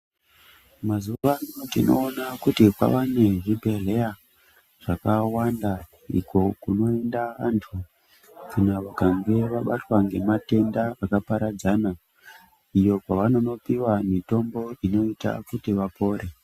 Mazuvano tinoona kuti kwava nezvibhedhleya zvakawanda uko kunoenda antu kana vakange vabatwa ngematenda akaparadzana, iyo kwavanonopiwa mitombo inoita kuti vapore.